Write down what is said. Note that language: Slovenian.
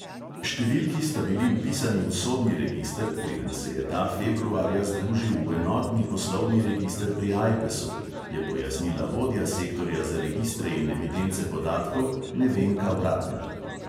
Številki sta bili vpisani v sodni register, preden se je ta februarja združil v enotni poslovni register pri ajpesu, je pojasnila vodja sektorja za registre in evidence podatkov nevenka vratnar.